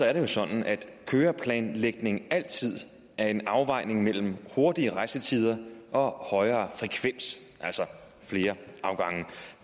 er det jo sådan at køreplanlægning altid er en afvejning mellem hurtigere rejsetider og højere frekvens altså flere afgange